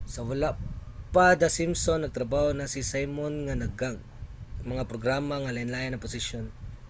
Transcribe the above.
sa wala pa the simpsons nagtrabaho na si simon sa daghang mga programa nga lain-lain ang posisyon